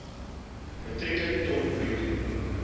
metrieke ton bruto